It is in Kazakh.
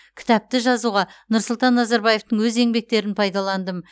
кітапты жазуға нұрсұлтан назарбаевтың өз еңбектерін пайдаландым